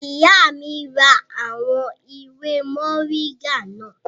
Ìyá mi ra àwọn ewé mọ̀ríńgà náà